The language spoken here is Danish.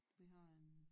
Vi har en